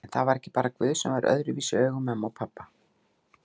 En það var ekki bara guð sem var öðruvísi í augum mömmu en pabba.